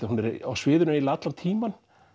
hún er á sviðinu eiginlega allan tímann